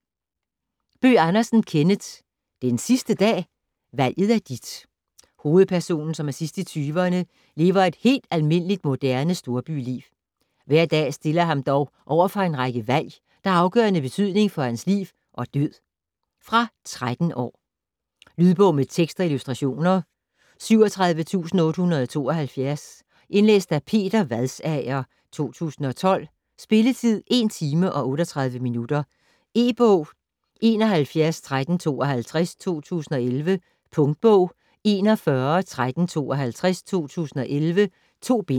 Bøgh Andersen, Kenneth: Den sidste dag?: valget er dit Hovedpersonen, som er sidst i 20'erne, lever et helt almindeligt moderne storbyliv. Hver dag stiller ham dog overfor en række valg, der har afgørende betydning for hans liv og død. Fra 13 år. Lydbog med tekst og illustrationer 37872 Indlæst af Peter Vadsager, 2012. Spilletid: 1 timer, 38 minutter. E-bog 711352 2011. Punktbog 411352 2011. 2 bind.